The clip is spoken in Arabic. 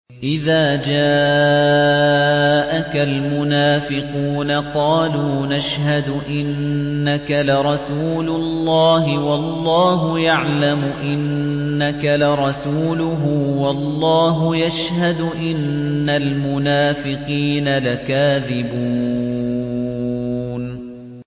إِذَا جَاءَكَ الْمُنَافِقُونَ قَالُوا نَشْهَدُ إِنَّكَ لَرَسُولُ اللَّهِ ۗ وَاللَّهُ يَعْلَمُ إِنَّكَ لَرَسُولُهُ وَاللَّهُ يَشْهَدُ إِنَّ الْمُنَافِقِينَ لَكَاذِبُونَ